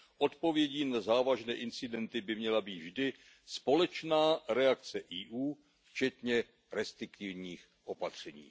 Odpovědí na závažné incidenty by měla být vždy společná reakce EU, včetně restriktivních opatření.